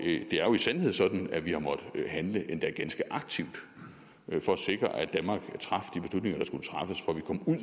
er jo i sandhed sådan at vi har måttet handle endda ganske aktivt for at sikre at danmark traf